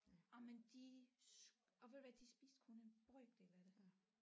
Jamen de og ved du hvad de spiste kun en brøkdel af det